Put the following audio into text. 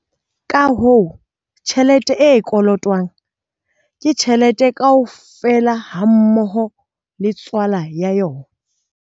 Ka hoo, tjhelete e kolotwang ke tjhelete kaofela hammoho le tswala ya yona.